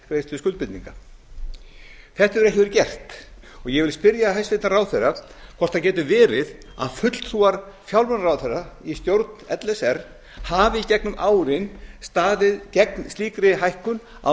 greiðslu skuldbindinga þetta hefur ekki verið gert ég vil spyrja hæstvirtan ráðherra hvort það geti verið að fulltrúar fjármálaráðherra í stjórn l s r hafi í gegnum árin staðið gegn slíkri hækkun á